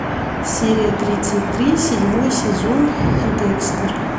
серия тридцать три седьмой сезон декстер